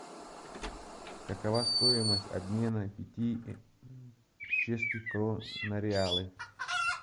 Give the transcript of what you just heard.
какова стоимость обмена пяти чешских крон на реалы